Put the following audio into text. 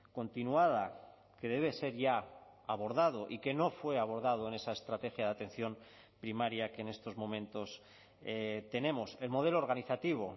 continuada que debe ser ya abordado y que no fue abordado en esa estrategia de atención primaria que en estos momentos tenemos el modelo organizativo